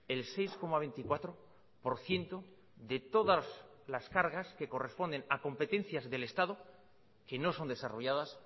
el seis coma veinticuatro por ciento de todas las cargas que corresponden a competencias del estado que no son desarrolladas